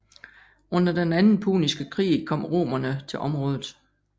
Under den anden puniske krig kom romerne til området